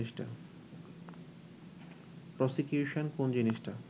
prosecution কোন্ জিনিসটা